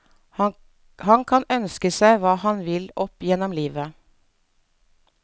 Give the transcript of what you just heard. Han kan ønske seg hva han vil opp gjennom livet.